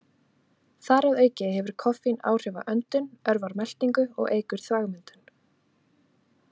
Þar að auki hefur koffín áhrif á öndun, örvar meltingu og eykur þvagmyndun.